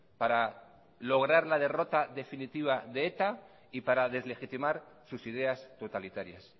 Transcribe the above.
para lograr la derrota definitiva de eta y para deslegitimar sus ideas totalitarias